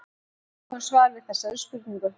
Við eigum svar við þessari spurningu.